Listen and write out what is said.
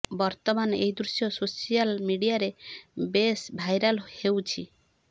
ବର୍ତ୍ତମାନ ଏହି ଦୃଶ୍ୟ ସୋସିଆଲ ମିଡ଼ିଆରେ ବେଶ ଭାଇରାଲ ହେଉଛି